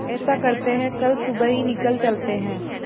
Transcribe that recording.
ऐसा करते है कल सुबह ही निकल चलते है